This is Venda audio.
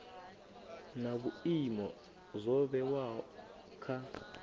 na vhuimo zwo vhewaho kha